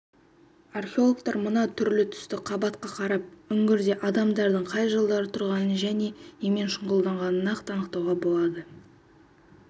археологтар мына түрлі-түсті қабатқа қарап үңгірде адамдардың қай жылдары тұрғанын және немен шұғылданғанын нақты анықтауға болады